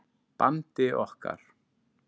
bandi okkar.